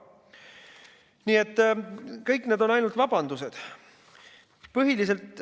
Nii et kõik need on ainult vabandused.